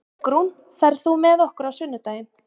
Borgrún, ferð þú með okkur á sunnudaginn?